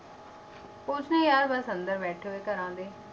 ਕੁਛ ਨੀ ਯਾਰ ਬਸ ਅੰਦਰ ਬੈਠੇ ਹੋਏ ਘਰਾਂ ਦੇ,